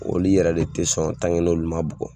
Oli yɛrɛ le tɛ sɔn n'olu man bugɔ.